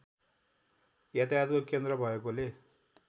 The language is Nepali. यातायातको केन्द्र भएकोले